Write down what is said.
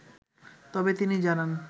তবে তিনি জানান